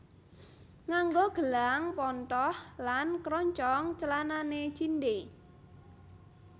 Nganggo gelang pontoh lan kroncong clanane cindhe